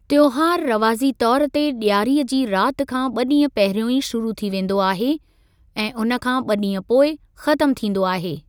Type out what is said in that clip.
त्योहारु रवाज़ी तौर ते ॾियारीअ जी रात खां ॿ ॾींहं पहिरियों ई शुरू थी वेंदो आहे ऐं हुनखां ॿ ॾींह पोइ खत्‍म थींदो आहे।